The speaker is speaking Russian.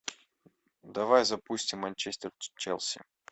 давай запустим манчестер челси